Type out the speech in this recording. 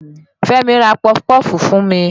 Fẹ́mi ra pọfupọ́ọ̀fù fún mi.